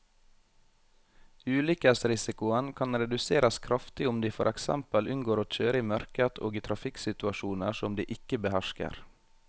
Ulykkesrisikoen kan reduseres kraftig om de for eksempel unngår å kjøre i mørket og i trafikksituasjoner som de ikke behersker.